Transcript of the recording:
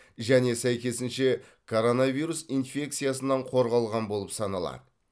және сәйкесінше коронавирус инфекциясынан қорғалған болып саналады